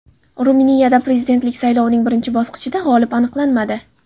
Ruminiyada prezidentlik saylovining birinchi bosqichida g‘olib aniqlanmadi.